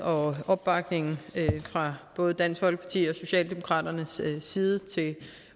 og opbakningen fra både dansk folkepartis og socialdemokratiets side til